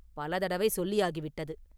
பல தடவை சொல்லியாகிவிட்டது.